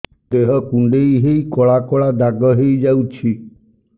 ଦେହ କୁଣ୍ଡେଇ ହେଇ କଳା କଳା ଦାଗ ହେଇଯାଉଛି